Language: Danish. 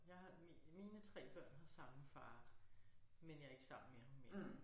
Jeg har mine 3 børn har samme far men jeg ikke sammen med ham mere